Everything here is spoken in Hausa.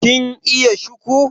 kin iya shiku